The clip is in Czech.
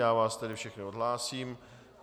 Já vás tedy všechny odhlásím.